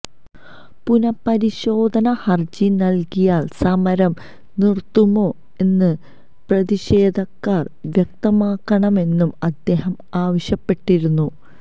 പുനപരിശോധന ഹര്ജി നല്കിയാല് സമരം നിര്ത്തുമോ എന്ന് പ്രതിഷേധക്കാര് വ്യക്തമാക്കണമെന്നും അദ്ദേഹം ആവശ്യപ്പെട്ടിരുന്നു